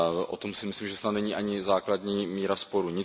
O tom si myslím, že snad není ani základní míra sporu.